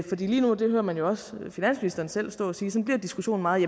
lige nu og det hører man jo også finansministeren stå at sige bliver diskussionen meget